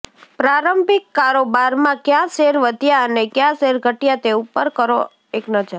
પ્રારંભિક કારોબારમાં કયા શેર વધ્યા અને કયા શેર ઘટ્યા તે ઉપર કરો એક નજર